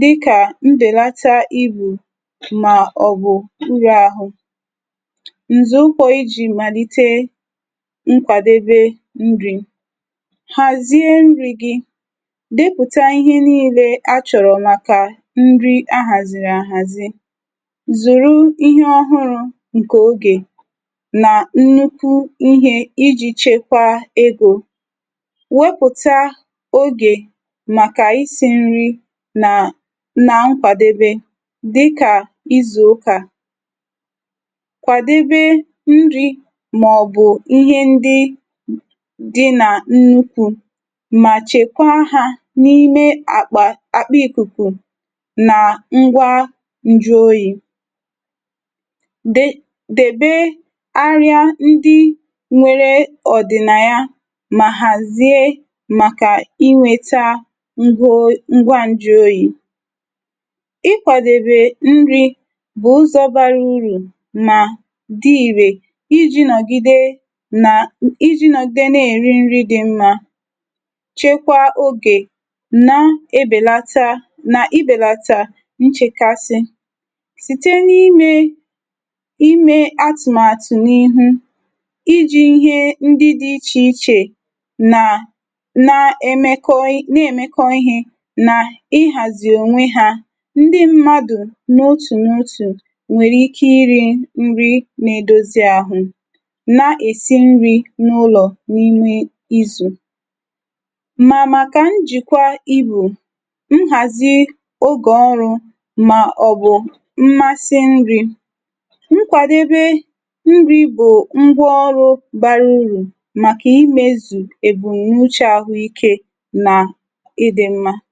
dịka mbelata íbù ma ọ bụ nrịahụ. Nzọụkwụ iji malite nkwadebe nri. Hazie nri gị. Depụta ihe niile a chọrọ maka nri a haziri ahazi. Zụrụ ihe ọhụrụ nke oge na nnukwu ihe iji chekwaa ego. Wepụta oge maka isi nri na na nkwadebe dịka izu ụka. Kwadebe nri maọbụ ihe ndị dị na nnukwu ma chekwaa ha n'ime akpa akpa ikuku na ngwá njụoyi. De debe árị́á ndị nwere ọ̀dị̀naya ma hazie maka inweta ngwo ngwa njụoyi. Ịkwadebe nri bụ ụzọ bara uru ma dị irè iji nọgide na iji nọgide na-eri nri dị mma, chekwaa oge na-ebelata na ibelata nchekasị. Site n'ime ime atụmatụ n'ihu, iji ihe ndị dị iche iche na emekọ na-emekọ́ ihe na ịhazi onwe ha. Ndị mmadụ n'otu n'otu nwere ike iri nri na-edozi ahụ na-esi nri n'ụlọ n'ime izu. Ma maka njikwa íbù, nhazi oge ọrụ maọbụ mmasị nri, nkwadebe nri bụ ngwáọrụ bara uru maka imezu ebumnuche ahụime na ịdị mma. Ndị dọkịta na-ahụ maka ụmụaka na-enyocha ùtó na mmepe iji hụ na ụmụaka na-aga n'ihu nke ọma. Nlekọta Ụmụaka na-eme ka ụmụaka nwete ọgwụ mgbochi dị mkpa iji chebe ọrịa ndị nwee ike igbochi. Dọkịta ndị dọkịta na-ahụ maka ụmụaka na-enye ndị nne na nna ndụmọdụ gbasara nri, nchekwa, omume na ị́zụ́ ị́zụ̀ ụmụaka na ozuzu. Ebe ndị bụ isi nke nleta nlekọta ụmụaka. K'anyị lebaa anya n'ebe ndị bụ isi nke nlekọta ụmụaka. Ha gụnyere nlekọta mgbochi, nlekọta ọrịa na-adịghị ala ala, ahụike mmepe na omume, nri na ọrụ anụahụ, ahụike uche na mmetụta uche, mgbochi na nchekwa mmerụ ahụ, nlekọta pụrụ iche. K'anyị lebaa anya n'ihe ịma áká dị na nlekọta ụmụaka. Ha gụnyere ọdịiche ahụike dị ka ihe gbasara akụnụba nwere ike igbochi nnweta nlekọta ụmụaka dị mma maka ụfọdụ ezinụlọ, ịba ụba nke oké ibu, ọnụ ọgụgụ nchegbu na-eto eto, ịda mbà n'obi na igbu onwe n'etiti ụmụaka na ndị nọ n'afọ iri na ụ́má na-achọ ka ahụike uche ka ukwuu.